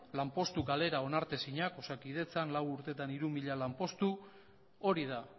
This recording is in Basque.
lanpostu galera onartezinak osakidetzan lau urtetan hiru mila lanpostu hori da